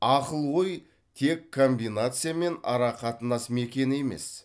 ақыл ой тек комбинация мен арақатынас мекені емес